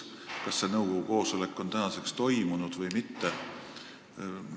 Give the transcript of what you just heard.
Kas see nõukogu koosolek on toimunud või mitte?